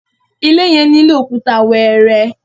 ilé yen nilo Òkúta wẹẹrẹ